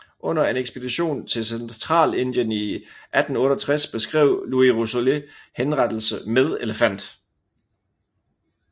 Under en ekspedition til Centralindien i 1868 beskrev Louis Rousselet henrettelse med elefant